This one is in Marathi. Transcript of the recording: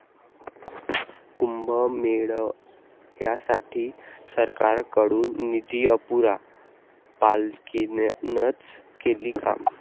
कुंभमेळ्यासाठी सरकारकडून निधी अपुरा, पालिकेनंच केली कामं'